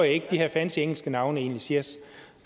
ikke at de her fancy engelske navne egentlig siger